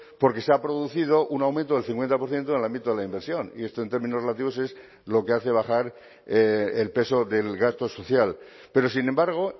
porque se ha producido un aumento del cincuenta por ciento en el ámbito de la inversión y esto en términos relativos es lo que hace bajar el peso del gasto social pero sin embargo